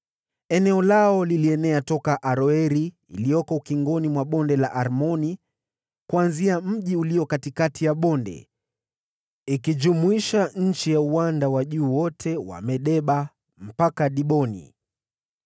Eneo lao lilienea toka Aroeri, iliyoko ukingoni mwa Bonde la Arnoni kuanzia mji ulio katikati ya bonde, likijumlisha nchi ya uwanda wa juu wote wa Medeba mpaka Diboni,